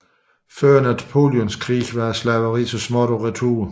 Før Napoleonskrigene var slaveriet så småt på retur